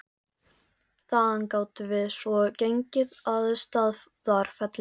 Þaðan gátum við svo gengið að Staðarfelli.